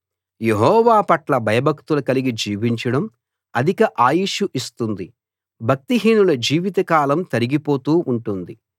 యెహోవా పట్ల భయభక్తులు కలిగి జీవించడం అధిక ఆయుష్షు ఇస్తుంది భక్తిహీనుల జీవితకాలం తరిగిపోతూ ఉంటుంది